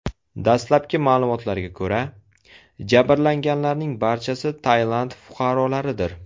Dastlabki ma’lumotlarga ko‘ra, jabrlanganlarning barchasi Tailand fuqarolaridir.